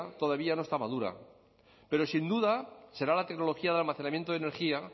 todavía no está madura pero sin duda será la tecnología de almacenamiento de energía